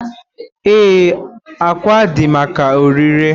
Ee, ákwà dị maka ọrịre.